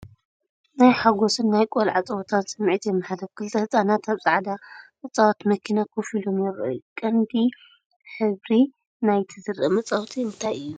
ናይ ሓጎስን ናይ ቆልዓ ጸወታን ስምዒት የመሓላልፍ፤ ክልተ ህጻናት ኣብ ጻዕዳ መጻወቲ መኪና ኮፍ ኢሎም ይረኣዩ። ቀንዲ ሕብሪ ናይቲ ዝርአ መጻወቲ እንታይ እዩ?